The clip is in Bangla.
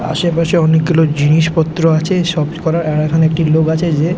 আশেপাশে অনেকগুলো জিনিসপত্র আছে সফ্ট করার আর এখনে একটি লোক আছে যে--